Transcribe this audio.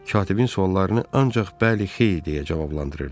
Katibin suallarını ancaq bəli, xeyr deyə cavablandırırdı.